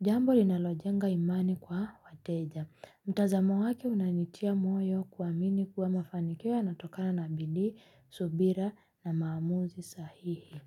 Jambo linalojenga imani kwa wateja. Mtazamo wake unanitia moyo kuamini kuwa mafanikio yanatokana na bidii, subira na maamuzi sahihi.